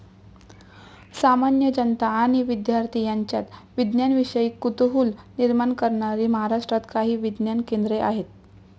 सामान्य जनता आणि विद्यार्थी यांच्यात विज्ञानाविषयी कुतूहल निर्माण करणारी महाराष्ट्रात काही विज्ञान केंद्रे आहेत.